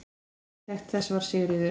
Arkitekt þess var Sigríður